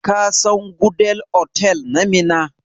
Ka san Gudel otal na Minna?